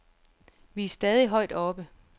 Vi er stadig højt oppe.